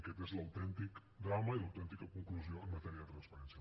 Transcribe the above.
aquest és l’autèntic drama i l’autèntica conclusió en matèria de transparència